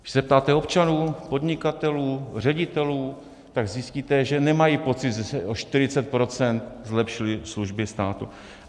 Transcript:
Když se zeptáte občanů, podnikatelů, ředitelů, tak zjistíte, že nemají pocit, že se o 40 % zlepšily služby státu.